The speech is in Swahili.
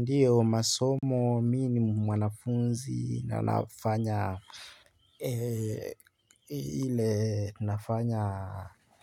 Ndiyo, masomo mi ni mwanafunzi na nafanya ile nafanya